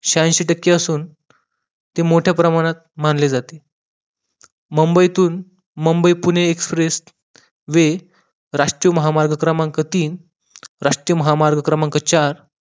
छ्यानशी टक्के असून ते मोठे प्रमाणात मानले जाते मुंबईतून मुंबई पुणे express way राष्ट्रीय महामार्ग क्रमांक तीन, राष्ट्रीय महामार्ग क्रमांक चार